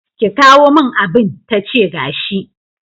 ki kawo min abin-tace gashi.